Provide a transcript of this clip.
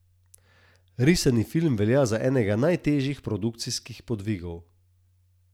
Risani film velja za enega najtežjih produkcijskih podvigov.